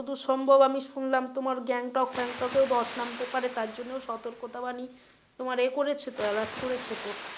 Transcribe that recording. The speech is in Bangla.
যতদূর সম্ভব আমি শুনলাম তোমার গ্যাংটক ফ্যাংটকেও ধস নামতে পারে তার জন্য ও সতর্কতা বানী তোমার এ করেছে তো alert করেছে তো।